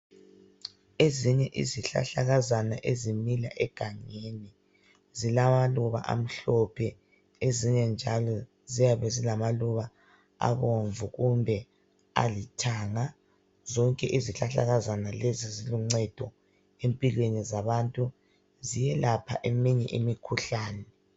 Ezinye izihlahlakazana ezimila egangeni, zilamaluba amhlophe, ezinye njalo ziyabe zilamaluba abomvu kumbe alithanga. Zonke izihlahlakazana lezi ziluncedo empilweni zabantu. Ziyelapha eminye imikhuhlane.